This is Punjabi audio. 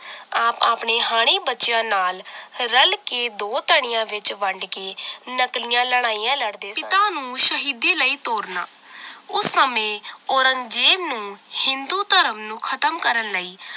ਆਪ ਆਪਣੇ ਹਾਣੀ ਬੱਚਿਆਂ ਨਾਲ ਰੱਲ ਤੇ ਦੋ ਤਣਿਆਂ ਵਿਚ ਵੰਡ ਕੇ ਨਕਲੀਆਂ ਲੜਾਈਆਂ ਲੜਦੇ ਪਿਤਾ ਨੂੰ ਸ਼ਹੀਦੀ ਲਈ ਤੋਰਨਾ ਉਸ ਸਮੇਂ ਔਰੰਗਜੇਬ ਨੂੰ ਹਿੰਦੂ ਧਰਮ ਨੂੰ ਖਤਮ ਕਰਨ ਲਈ